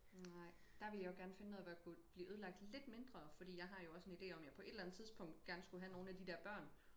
Nej der ville jeg jo gerne finde noget hvor jeg kunne blive ødelagt lidt mindre fordi jeg har jo også en ide om jeg på et eller andet tidspunkt gerne skulle have nogen af de der børn